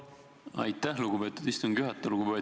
Aitäh, lugupeetud istungi juhataja!